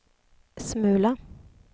smula